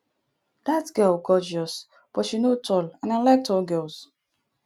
dat girl gorgeous but she no tall and i like tall girls